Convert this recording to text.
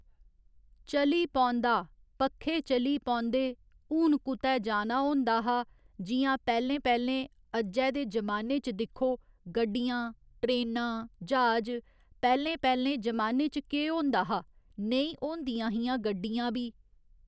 चली पौंदा पक्खे चली पौंदे हून कुतै जाना होंदा हा जि'यां पैहलें पैहलें अज्जै दे जमाने च दिक्खो गड्डियां ट्रेना ज्हाज पैहलें पैहले जमाने च केह् होंदा हा नेईं होंदियां हियां गड्डियां बी